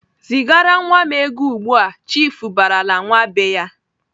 "Zigara nwa m ego ugbu!"Chiifu barala nwa be ya.